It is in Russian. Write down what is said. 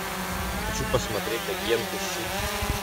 хочу посмотреть агенты щит